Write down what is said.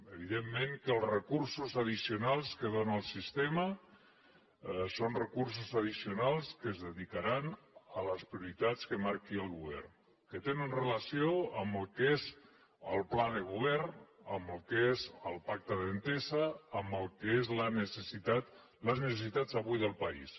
evidentment que els recursos addicionals que dóna el sistema són recursos addicionals que es dedicaran a les prioritats que marqui el govern que tenen relació amb el que és el pla de govern amb el que és el pacte d’entesa amb el que són les necessitats avui del país